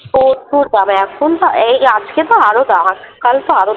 প্রচুর দাম । এখন যা এই আজকে তো আরো দাম আছে কাল তো আরো।